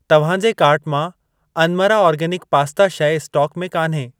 तव्हां जे कार्ट मां अनमरा आर्गेनिक पास्ता शइ स्टोक में कान्हे।